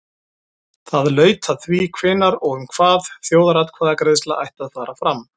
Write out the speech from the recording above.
Það laut að því hvenær og um hvað þjóðaratkvæðagreiðsla ætti að fara fram.